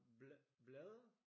Blade?